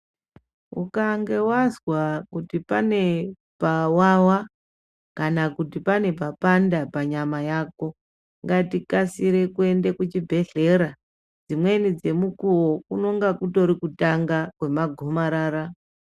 Ukange wazwa kuti pane pawawa kana kuti pane papanda panyama yako, ngatikasire kuende kuchibhedhlera dzimweni dzemunguwo kunenge kutori kutanga kwemagomarara.